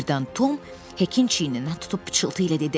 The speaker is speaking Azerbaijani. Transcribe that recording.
Birdən Tom Hekin çiyninə tutub pıçıltı ilə dedi: